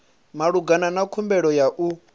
malugana na khumbelo ya u